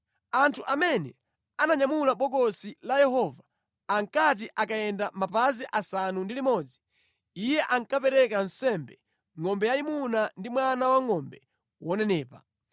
Anthu amene ananyamula Bokosi la Yehova ankati akayenda mapazi asanu ndi limodzi, iye ankapereka nsembe ngʼombe yayimuna ndi mwana wangʼombe wonenepa.